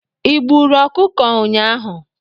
Ị gburu ọkụkọ ụnyaahụ?